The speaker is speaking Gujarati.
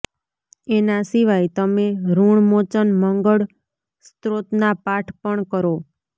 એના સિવાય તમે ઋણમોચન મંગળ સ્ત્રોતના પાઠ પણ કરો